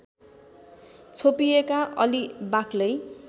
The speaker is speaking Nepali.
छोपिएका अलि बाक्लै